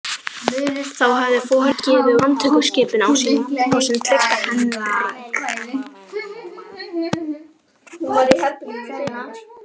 Þá hafði foringinn gefið út handtökuskipun á sinn trygga Heinrich